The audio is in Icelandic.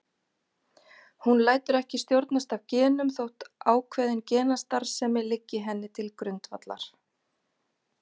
Hún lætur ekki stjórnast af genum þótt ákveðin genastarfsemi liggi henni til grundvallar.